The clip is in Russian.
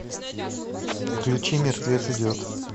включи мертвец идет